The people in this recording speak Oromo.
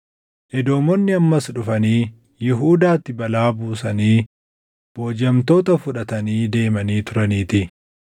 Edoomonni ammas dhufanii Yihuudaatti balaa buusanii boojiʼamtoota fudhatanii deemanii turaniitii;